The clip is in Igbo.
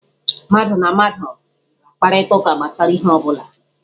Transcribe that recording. Mmadụ na mmadụ ga-akparịta ụka gbasara ihe ọ bụla.